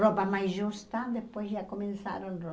Roupa mais justa, depois já começaram.